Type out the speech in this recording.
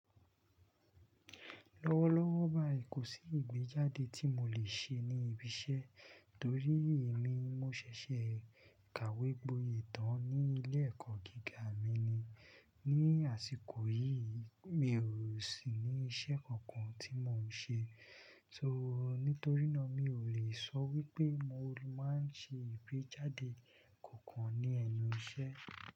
Lọ́wọ́lọ́wọ́ báyìí, kò sí ìgbéjáde tí mo lè ṣe ní ibi iṣẹ́ torí èmi mo ṣẹ̀ṣẹ̀ kàwégboyè tán ní ilé-ẹ̀kọ́ gíga mi ni. Ni àsìkò yìí, mi ò sì ní iṣẹ́ kankan tí mò ń ṣe. So nítorínà mi ò lè sọ wípé mo máa ń ṣe ìgbéjáde kankan ní ẹnu iṣẹ́.